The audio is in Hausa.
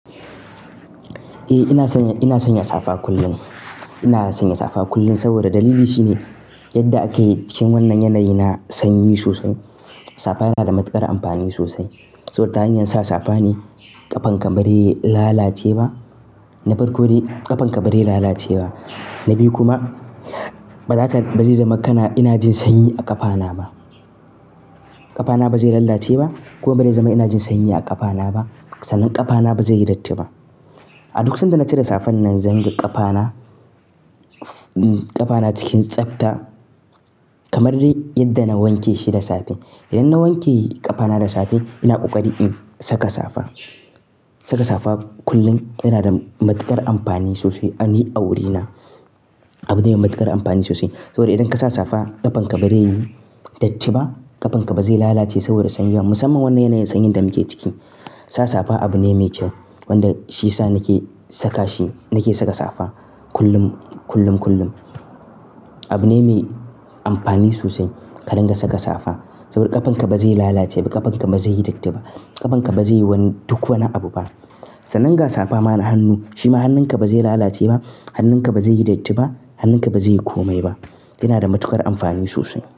Eh, ina sanya safa kullum. Ina sanya safa kullum saboda dalili shine yadda ake cikin wannan yanayi na sanyi sosai. Safa yana da matuƙar amfani sosai. Saboda ta hanyar sa safa ne ƙafanka bazai lalace ba. Na farko dai ƙafanka bari lalace ba. Na biyu kuma, ba zaka, ba zai zama kana ina jin sanyi a ƙafana ba. Ƙafana ba zai lalace ba kuma ba zai zama ina jin sanyi a ƙafana ba. Sannan ƙafana ba zai yi datti ba. A duk sanda na cire safan nan, zan ga ƙafana, ƙafana cikin tsafta kamar dai yadda na wanke shi da safe. Idan na wanke ƙafana da safe, ina ƙoƙari in saka safa. Saka safa kullum yana da matuƙar amfani sosai a ni, a wurina. Abu ne mai matuƙar amfani sosai. Saboda idan ka sa safa ƙafanka ba zai yi datti ba, ƙafanka ba zai lalace saboda sanyi ba. Musamman wannan yanayin sanyin da muke ciki, sa safa abu ne mai kyau wanda shiyasa nake saka shi, nake saka safa kullum, kullum, kullum. Abu ne mai amfani sosai ka dinga saka safa saboda ƙafanka ba zai lalace ba, ƙafanka ba zai yi datti ba. Ƙafanka ba zai yi wani duk wani abu ba. Sannan ga safa ma na hannu, shi ma hannunka ba zai lalace ba, hannunka ba zai yi datti ba, hannunka ba zai yi komai ba. Yana da matukar amfani sosai.